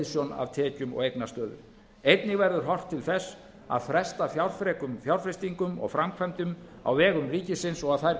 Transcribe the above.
hliðsjón af tekjum og eignastöðu einnig verður horft til þess að fresta fjárfrekum fjárfestingum og framkvæmdum á vegum ríkisins og að þær